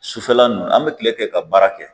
Sufɛla ninnu an bɛ kile kɛ ka baara kɛ